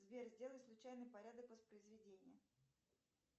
сбер сделай случайный порядок воспроизведения